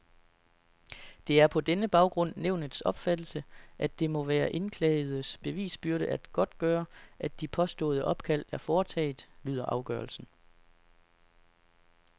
Det er på denne baggrund nævnets opfattelse, at det må være indklagedes bevisbyrde at godtgøre, at de påståede opkald er foretaget, lyder afgørelsen.